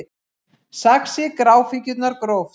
Saxið gráfíkjurnar gróft